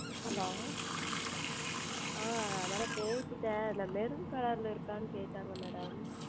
Hello ah Madam பேசிவிட்டேன் இந்த Maroon Color லில் உள்ளதா என்று கேட்டார்கள் Madam